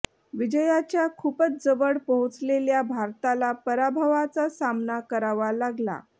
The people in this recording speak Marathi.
विजयाच्या खूपच जवळ पोहोचलेल्या भारताला पराभवाचा सामना करावा लागला